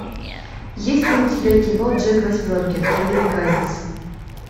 есть ли у тебя кино джек восьмеркин американец